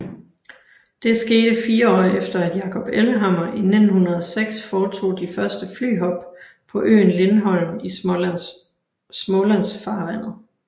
Det skete fire år efter at Jacob Ellehammer i 1906 foretog de første flyhop på øen Lindholm i Smålandsfarvandet